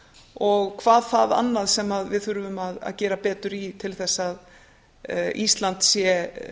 og hvað það annað sem við þurfum að gera betur í til þess að ísland sé